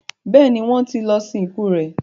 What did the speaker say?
béèni wón tí lọ sin ikú rẹ.